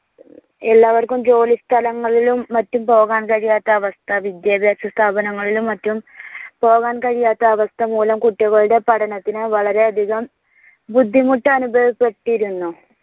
എല്ലാവർക്കും ജോലി സ്ഥലങ്ങളിലും മറ്റും പോകാൻ കഴിയാത്ത അവസ്ഥ വിദ്യാഭ്യാസ സ്ഥാപനങ്ങളിലും മറ്റും പോവാൻ കഴിയാത്ത അവസ്ഥ മൂലം കുട്ടികളുടെ പഠനത്തിന് വളരെയധികം ബുദ്ധിമുട്ട് അനുഭവപ്പെട്ടിരുന്നു.